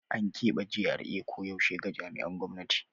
An kebe GRA koyaushe ga jami'an gwamnati.